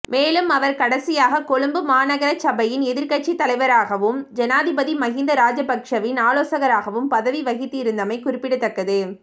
மேலும் அவர் கடைசியாக கொழும்பு மாநகர சபையின் எதிர்க்கட்சித்தலைவராகவும் ஜனாதிபதி மஹிந்த ராஜபக்ஸவின் ஆலோசகராகவும் பதவிவகித்திருந்தமை குறிப்பிடத்தக்கது